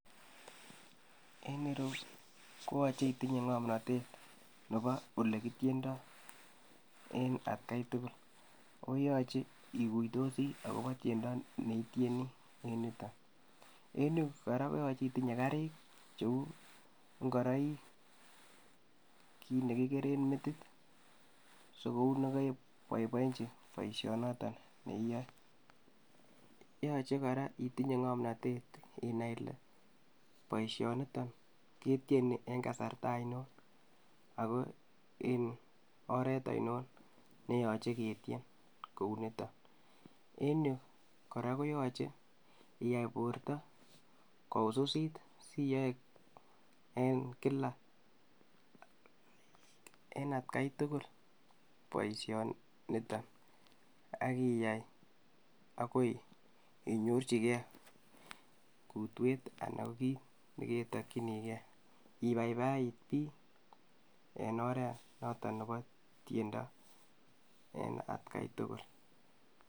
Eng ireyu koyache itinye ngomnotet nebo ole kityendoi en atkai tugul, koyachei iguitosi agobo tyendo neityeni en yutok. En yu kora koyachei itinye karik cheu ngoroik, kiit ne kikere metit sigoune ke boibochi boisyonotok neiyae yochei kora itinye ngomnotet inai kole boisyonitok ketyeni eng kasarta ingiro ako en oret ingiro ne yachei ketyen kounitok. En yu kora koyachei iyai borto kowisisit si iyae eng kila eng atkai tugul boisyonitok akiyai agoi inyorchigei kutwet anan kiit ne kemokchinigei, ibaibait piik eng oret notek nebo tiendo eng atkai tugul.